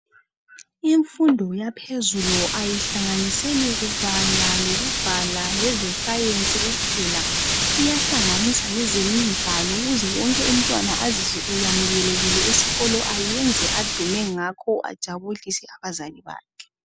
Imfundo yaphezulu ayihlanganiseli kubala lokubhala leze science kuphela, iyahlanganisa lezemidlalo ukuze wonke umntwana azizwe eyamukelekile esikolo ayenze adume ngakho ajabulise abazali bakhe.